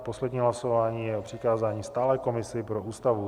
A poslední hlasování je o přikázání stálé komisi pro Ústavu.